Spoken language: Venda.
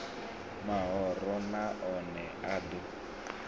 mahoro na one a ḓo